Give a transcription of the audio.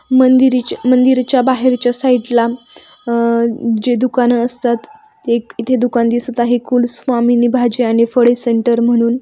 मांदिरीच्या मांदिरीच्या बाहेरच्या साइडला अह जे दुकानं असतात. एक इथे दुकान दिसत आहे कुलस्वामिनी भाज्या आणि फळे सेंटर म्हणून.